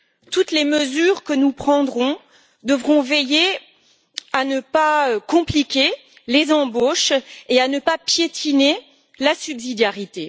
Toutes les mesures que nous prendrons devront veiller à ne pas compliquer les embauches et à ne pas piétiner la subsidiarité.